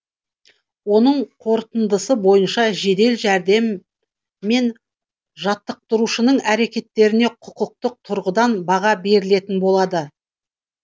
оның қорытындысы бойынша жедел жәрдем мен жаттықтырушының әрекеттеріне құқықтық тұрғыдан баға берілетін болады